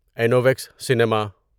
انوویکس cinema